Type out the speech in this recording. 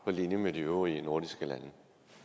på linje med de øvrige nordiske lande